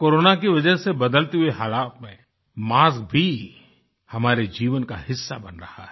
corona की वजह से बदलते हुए हालत में मास्क भी हमारे जीवन का हिस्सा बन रहा है